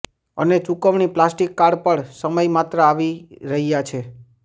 અને ચૂકવણી plastic card પર સમય માત્ર આવી રહ્યા છે